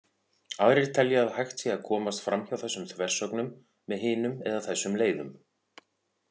Aðrir telja að hægt sé að komast framhjá þessum þversögnum með hinum eða þessum leiðum.